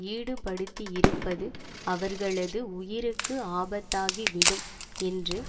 ஈடுபடுத்தியிருப்பது அவர்களது உயிருக்கு ஆபத்தாகிவிடும் என்று